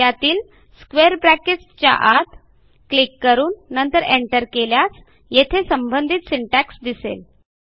त्यातील square brackets च्या आत क्लिक करून नंतर एंटर केल्यास येथे संबंधीत सिंटॅक्स दिसेल